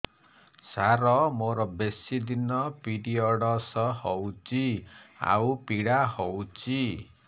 ସାର ମୋର ବେଶୀ ଦିନ ପିରୀଅଡ଼ସ ହଉଚି ଆଉ ପୀଡା ହଉଚି